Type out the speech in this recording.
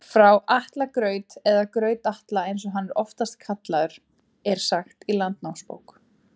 Frá Atla graut, eða Graut-Atla eins og hann er oftast kallaður, er sagt í Landnámabók.